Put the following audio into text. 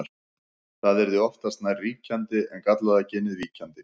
Það yrði oftast nær ríkjandi en gallaða genið víkjandi.